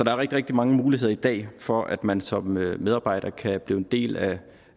er rigtig rigtig mange muligheder i dag for at man som medarbejder kan blive en del af